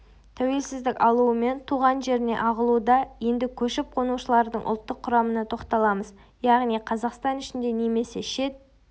тәуелсіздік алуымен туған жеріне ағылуда енді көшіп-қонушылардың ұлттық құрамына тоқталамыз яғни қазақстан ішінде немесе шет